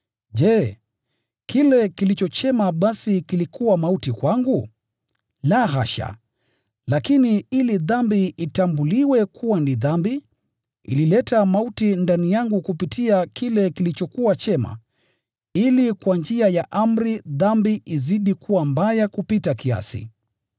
Je, kile kilicho chema basi kilikuwa mauti kwangu? La, hasha! Lakini ili dhambi itambuliwe kuwa ni dhambi, ilileta mauti ndani yangu kupitia kile kilichokuwa chema, ili kwa njia ya amri dhambi izidi kuwa mbaya kupita kiasi.